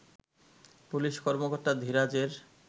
police কর্মকর্তা ধীরাজের